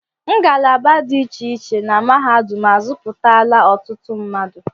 Ngalaba dị iche iche na mahadum azuputala ọtụtụ mmadụ.